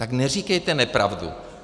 Tak neříkejte nepravdu.